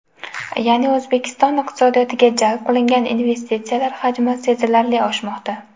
Ya’ni, O‘zbekiston iqtisodiyotiga jalb qilingan investitsiyalar hajmi sezilarli oshmoqda.